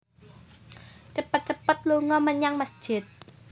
Cepet cepet lunga menyang mesjid